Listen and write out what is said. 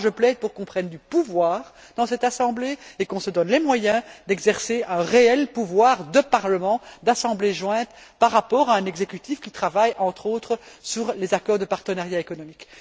Je plaide pour qu'on prenne du pouvoir dans cette assemblée et qu'on se donne les moyens d'exercer un réel pouvoir de parlement, d'assemblée jointe, par rapport à un exécutif qui travaille, entre autres, sur les accords de partenariat économique.